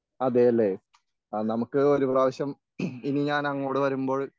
അതെയല്ലേ? ആ നമുക്ക് ഒരു പ്രാവശ്യം ഇനി ഞാൻ അങ്ങോട് വരുമ്പോൾ